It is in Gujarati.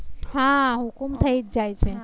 હા હુકુમ થઈ જાય. હા હુકુમ થઈ જાય છે